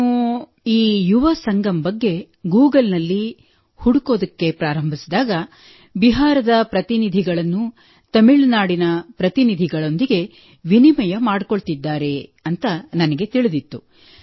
ನಾನು ಈ ಯುವ ಸಂಗಮ್ ಬಗ್ಗೆ ಗೂಗಲ್ನಲ್ಲಿ ಹುಡುಕಲು ಪ್ರಾರಂಭಿಸಿದಾಗ ಬಿಹಾರದ ಪ್ರತಿನಿಧಿಗಳನ್ನು ತಮಿಳುನಾಡಿನ ಪ್ರತಿನಿಧಿಗಳೊಂದಿಗೆ ವಿನಿಮಯ ಮಾಡಿಕೊಳ್ಳುತ್ತಿದ್ದಾರೆ ಎಂದು ನನಗೆ ತಿಳಿದಿತ್ತು